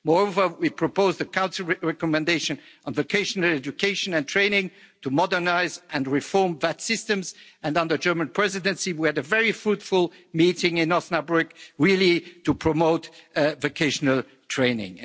Moreover we propose the Council recommendation on vocational education and training to modernise and reform those systems, and under the German Presidency we had a very fruitful meeting in Osnabrück really to promote vocational training.